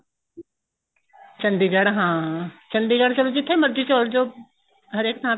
ਚੰਡੀਗੜ੍ਹ ਹਾਂ ਚੰਡੀਗੜ੍ਹ ਚਲੇ ਜੋ ਜਿੱਥੇ ਮਰਜੀ ਚਲੇ ਜੋ ਹਰੇਕ ਥਾਂ ਤੇ